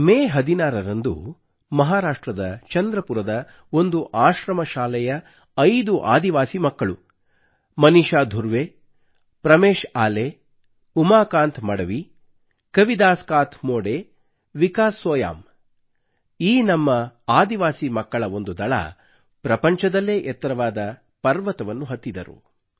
ಮೇ ಹದಿನಾರರಂದು ಮಹಾರಾಷ್ಟ್ರದ ಚಂದ್ರಪುರದ ಒಂದು ಆಶ್ರಮಶಾಲೆಯ 5 ಆದಿವಾಸಿ ಮಕ್ಕಳು ಮನೀಷಾ ಧುರ್ವೆ ಪ್ರಮೇಶ್ ಆಲೆ ಉಮಾಕಾಂತ್ ಮಡವಿ ಕವಿದಾಸ್ ಕಾತ್ ಮೋಡೆ ವಿಕಾಸ್ ಸೋಯಾಮ್ ಈ ನಮ್ಮ ಆದಿವಾಸಿ ಮಕ್ಕಳ ಒಂದು ದಳವು ಪ್ರಪಂಚದಲ್ಲೇ ಎತ್ತರವಾದ ಪರ್ವತವನ್ನು ಹತ್ತಿದರು